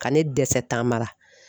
Ka ne dɛsɛ taamara